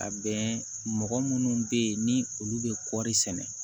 A bɛn mɔgɔ minnu be yen ni olu be kɔri sɛnɛ